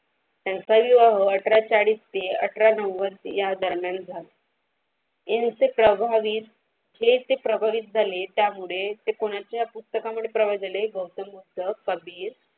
त्यांच्या अठरा चाडीस ते अठरा या दरम्या गात यांचे हे प्रचलित झाले त्यामुळे कोणाच्या पुस्तक त्यामुळे पर्व झाले गौतम बुद्ध कबीर.